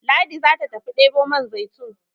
Ladi za ta tafi debo man zaitun